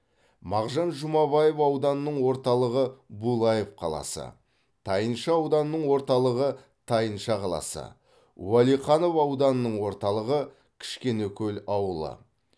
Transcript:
мағжан жұмабаев ауданының орталығы булаев қаласы тайынша ауданының орталығы тайынша қаласы уәлиханов ауданының орталығы кішкенекөл ауылы